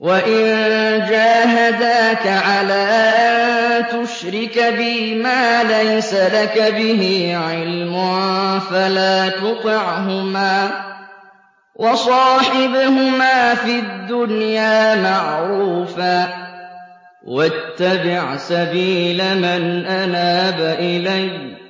وَإِن جَاهَدَاكَ عَلَىٰ أَن تُشْرِكَ بِي مَا لَيْسَ لَكَ بِهِ عِلْمٌ فَلَا تُطِعْهُمَا ۖ وَصَاحِبْهُمَا فِي الدُّنْيَا مَعْرُوفًا ۖ وَاتَّبِعْ سَبِيلَ مَنْ أَنَابَ إِلَيَّ ۚ